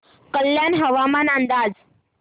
कल्याण हवामान अंदाज